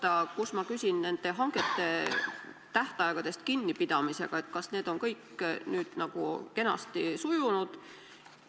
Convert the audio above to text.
Äkki te täpsustate hangete tähtaegadest kinnipidamist: kas kõik on nüüd kenasti sujunud?